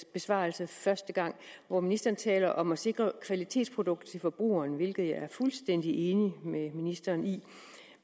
besvarelse hvor ministeren talte om at sikre kvalitetsprodukter til forbrugerne hvilket jeg er fuldstændig enig med ministeren i